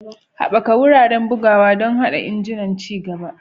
Haɓaka wuraren bugawa don haɗa injunan ci gaba.